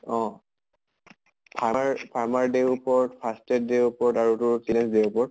অহ farmer day ওপৰত, fast tag day ৰওপৰত আৰু তোৰ children day ৰ ওপৰত